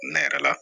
Ne yɛrɛ la